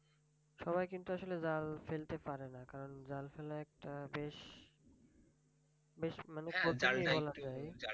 সবাই কিন্তু আসলে জাল ফেলতে পারে না কারণ জাল ফেলা একটা বেশ বেশ মানে কঠিন ই বলা চলে